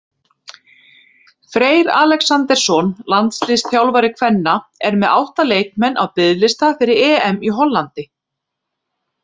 Freyr Alexandersson, landsliðsþjálfari kvenna, er með átta leikmenn á biðlista fyrir EM í Hollandi.